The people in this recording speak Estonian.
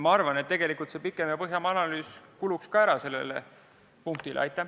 Ma arvan samuti, et tegelikult selle punkti pikem ja põhjalikum analüüs kuluks tõesti ära.